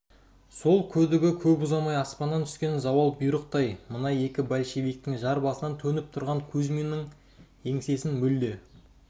сол күдігі көп ұзамай аспаннан түскен зауал бұйрықтай мына екі большевиктің жар басынан төніп тұрғаны кузьминнің еңсесін мүлде